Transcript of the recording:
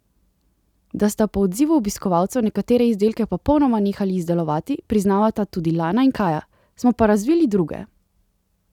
Da sta po odzivu obiskovalcev nekatere izdelke popolnoma nehali izdelovati, priznavata tudi Lana in Kaja: "Smo pa razvili druge.